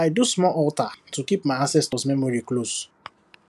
i do small altar to keep my ancestors memory close